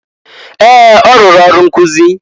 Ee! Ọ rụrụ ọrụ nkụzị.